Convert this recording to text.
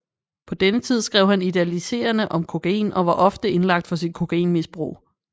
På denne tid skrev han idealiserende om kokain og var ofte indlagt for sit kokainmisbrug